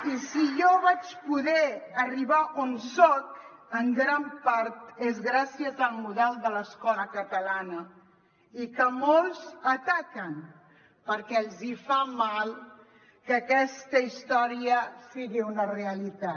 i si jo vaig poder arribar on soc en gran part és gràcies al model de l’escola catalana i que molts ataquen perquè els hi fa mal que aquesta història sigui una realitat